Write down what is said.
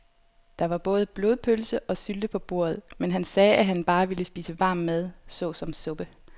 Der var både blodpølse og sylte på bordet, men han sagde, at han bare ville spise varm mad såsom suppe.